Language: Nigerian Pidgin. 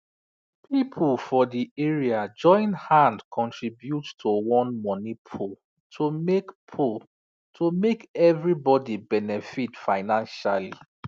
people for the area join hand contribute to one money pool to make pool to make everybody benefit financially